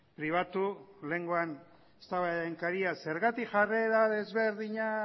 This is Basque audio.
pribatu lehengoan eztabaidaren haria zergatik jarrera desberdina